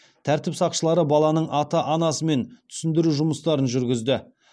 тәртіп сақшылары баланың ата анасымен түсіндіру жұмыстарын жүргізді